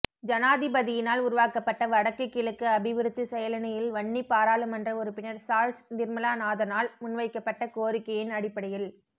ஜனாதிபதியினால் உருவாக்கப்பட்ட வடக்குகிழக்கு அபிவிருத்தி செயலணியில் வன்னி பாராளுமன்ற உறுப்பினர் சால்ஸ் நிர்மலனாதனால் முன்வைக்கப்பட்ட கோரிக்கையின் அடிப்படையில்